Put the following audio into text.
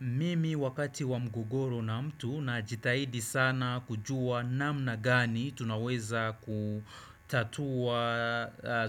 Mimi wakati wa mgogoro na mtu najitahidi sana kujua namna gani tunaweza kutatua